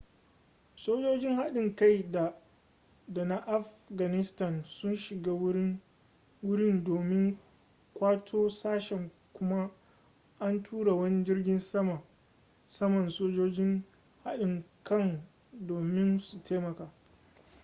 sojojin haɗin kai da na afganistan sun shiga wurin domin ƙwato sashen kuma an tura wani jirgin saman sojojin haɗin kan domin su taimaka